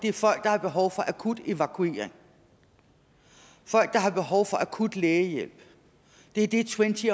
er folk der har behov for akut evakuering folk der har behov for akut lægehjælp det er det twenty